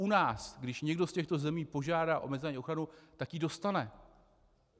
U nás, když někdo z těchto zemí požádá o mezinárodní ochranu, tak ji dostane.